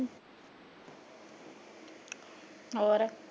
ਹੋਰ